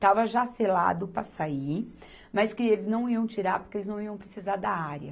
Estava já selado para sair, mas que eles não iam tirar porque eles não iam precisar da área.